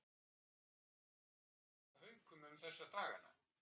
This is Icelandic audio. Hvernig er stemningin hjá Haukum um þessa dagana?